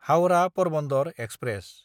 हाउरा–परबन्दर express